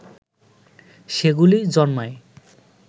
সেগুলি জন্মায়